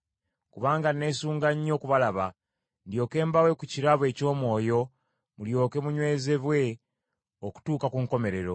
Kubanga neesunga nnyo okubalaba, ndyoke mbawe ku kirabo eky’omwoyo, mulyoke munywezebwe okutuuka ku nkomerero,